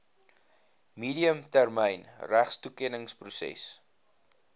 medium termyn regtetoekenningsproses